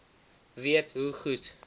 weet hoe goed